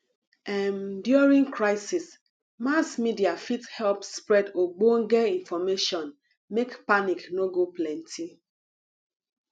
um during crisis mass media fit help spread ogbonge information make panic no go plenty